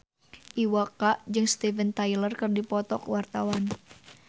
Iwa K jeung Steven Tyler keur dipoto ku wartawan